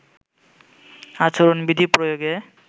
আচরণ বিধি প্রয়োগে